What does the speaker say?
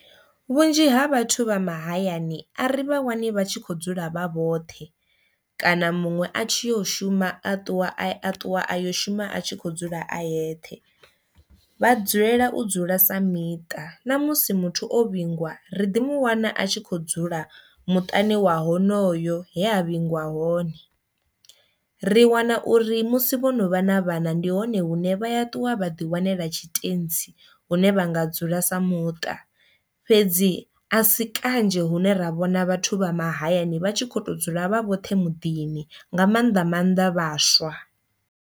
Vhunzhi ha vhathu vha mahayani a ri vha wani vha tshi kho dzula vha vhoṱhe kana muṅwe a tshi yo shuma a ṱuwa a ṱuwa a yo shuma a tshi kho dzula a yeṱhe, vha dzulela u dzula sa miṱa, na musi muthu o vhingwa ri ḓi mu wana a tshi kho dzula muṱani wa honoyo he a vhingiwa hone. Ri wana uri musi vhono vha na vhana ndi hone hune vha ya ṱuwa vha ḓi wanela tshitentsi hune vha nga dzula sa muṱa fhedzi a si kanzhi hune ra vhona vhathu vha mahayani vha tshi kho to dzula vha vhoṱhe muḓini nga maanḓa maanḓa vhaswa.